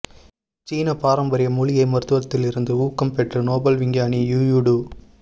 சீன பாரம்பரிய மூலிகை மருத்துவத்திலிருந்து ஊக்கம் பெற்ற நோபல் விஞ்ஞானி யூயூ டு